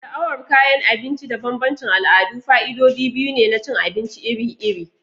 Sha'awar kayan abinci da bambancin al'adu fa'idodi biyu ne na cin abinci iri-iri.